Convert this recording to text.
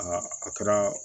Aa a kɛra